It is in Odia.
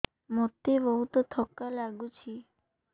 ମୋତେ ବହୁତ୍ ଥକା ଲାଗୁଛି